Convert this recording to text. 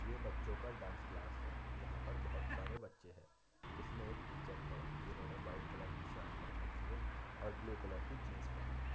ये बच्चो का डांस क्लास है | यहाँ पर बोहत सारे बच्चे हैं जिसमे एक टीचर है जिन्होंने वाइट कलर की शर्ट पहन रखी है और ब्लू कलर की जीन्स पहन रखी है।